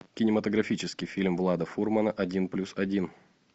кинематографический фильм влада фурмана один плюс один